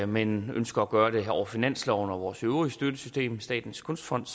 men ønsker at gøre det over finansloven og vores øvrige støttesystem statens kunstfond